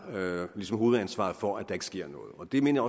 hovedansvaret for at der ikke sker noget det mener